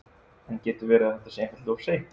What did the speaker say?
En getur verið að þetta sé einfaldlega of seint?